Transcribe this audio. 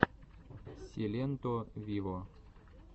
силенто виво